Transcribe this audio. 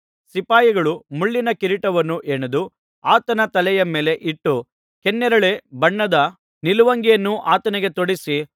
ಸಿಪಾಯಿಗಳು ಮುಳ್ಳಿನ ಕಿರೀಟವನ್ನು ಹೆಣೆದು ಆತನ ತಲೆಯ ಮೇಲೆ ಇಟ್ಟು ಕೆನ್ನೇರಳೆ ಬಣ್ಣದ ನಿಲುವಂಗಿಯನ್ನು ಆತನಿಗೆ ತೊಡಿಸಿ